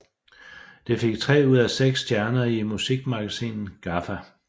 Det fik tre ud af seks stjerner i musikmagasinet GAFFA